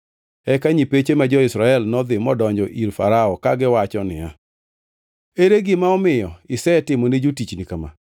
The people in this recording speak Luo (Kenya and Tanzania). Eka nyipeche ma jo-Israel nodhi modonjo ir Farao kagiwacho niya, “Ere gima omiyo isetimone jotichni kama?